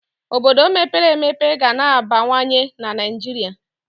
Obodo mepere emepe ga na-abawanye na Naịjirịa.